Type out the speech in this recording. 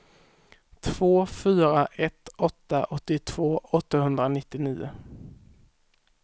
två fyra ett åtta åttiotvå åttahundranittionio